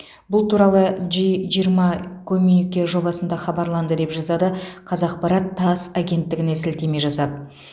бұл туралы джи жиырма коммюнике жобасында хабарланды деп жазады қазақпарат тасс агенттігіне сілтеме жасап